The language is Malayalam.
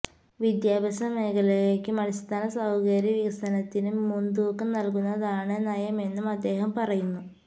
വിദ്യാഭ്യാസമേഖലയ്ക്കും അടിസ്ഥാന സൌകര്യ വികസനത്തിനും മുന്തൂക്കം നല്കുന്നതാണ് നയമെന്നും അദ്ദേഹം പറയുന്നു